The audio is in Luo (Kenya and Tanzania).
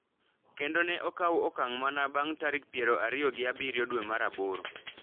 kendo ne okaw okang’ mana bang’ tarik piero ariyo gi abiriyo dwe mar aboro.